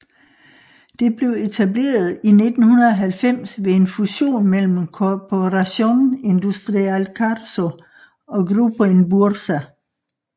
Det blev etableret i 1990 ved en fusion mellem Corporación Industrial Carso og Grupo Inbursa